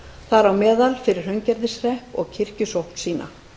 þar á meðal fyrir hraungerðishrepp og kirkjusókn sína